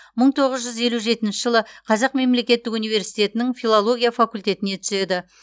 мың тоғыз жүз елу жетінші жылы қазақ мемлекеттік университетінің филология факультетіне түседі